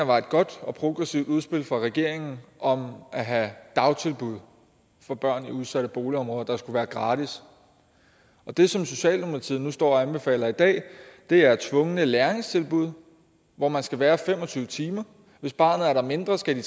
var et godt og progressivt udspil fra regeringen om at have dagtilbud for børn i udsatte boligområder der skulle være gratis og det som socialdemokratiet nu står og anbefaler i dag er tvungne læringstilbud hvor man skal være fem og tyve timer hvis barnet er der mindre skal